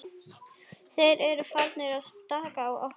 Þeir eru farnir að stara á okkar.